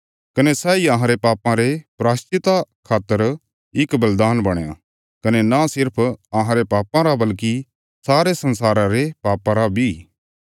कने सैई अहांरे पापां रे प्रायश्चिता खातर इक बलिदान बणया कने न सिर्फ अहांरे पापां रा बल्कि सारे संसारा रे पापां रा बी